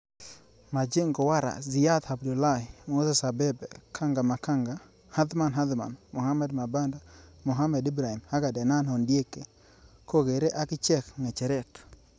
Majengo Warrah, Siyat Abdullahi, Moses abebe, Kanga Maganga, Athman Athman, Mohamed Mabanda, Mohamed Ibrahim ak Adenan Ondieki kogere akichek ngecheret.